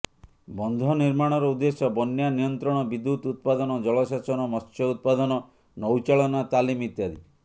ବନ୍ଧ ନିର୍ମାଣର ଉଦ୍ଦେଶ୍ୟ ବନ୍ୟା ନିୟନ୍ତ୍ରଣ ବିଦ୍ୟୁତ୍ ଉତ୍ପାଦନ ଜଳସେଚନ ମତ୍ସ୍ୟ ଉତ୍ପାଦନ ନୌଚାଳନା ତାଲିମ ଇତ୍ୟାଦି